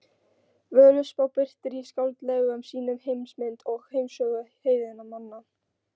Völuspá birtir í skáldlegum sýnum heimsmynd og heimssögu heiðinna manna.